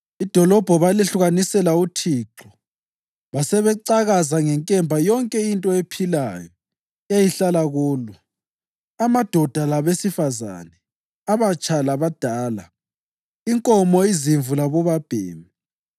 Idolobho balehlukanisela uThixo basebecakaza ngenkemba yonke into ephilayo eyayihlala kulo, amadoda labesifazane, abatsha labadala, inkomo, izimvu labobabhemi.